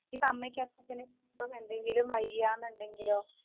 ഇപ്പം അമ്മയ്ക്കും അച്ഛനും ഇപ്പം എന്തെങ്കിലും വയ്യാന്നുണ്ടെങ്കിലോ